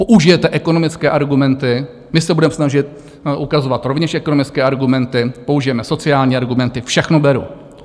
Použijete ekonomické argumenty, my se budeme snažit ukazovat rovněž ekonomické argumenty, použijeme sociální argumenty, všechno beru.